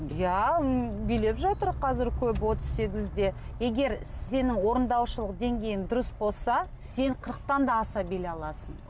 иә м билеп жатыр қазір көбі отыз сегізде егер сенің орындаушылық деңгейің дұрыс болса сен қырықтан да аса билей аласың